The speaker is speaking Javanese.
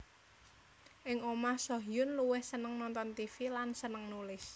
Ing omah Soo Hyun luwih seneng nonton tv lan seneng nulis